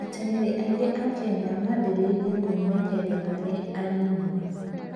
Ateng'eri aingĩ a Kenya mambĩrĩria kwĩmenyeria marĩ anini mũno.